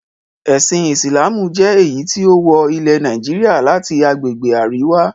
Ẹ̀sìn Ìsìlámù jẹ́ èyí tí ó wọ ilẹ̀ Nàìjíríà láti agbègbè Àríwá.